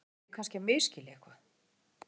Eða er ég kannski að misskilja eitthvað?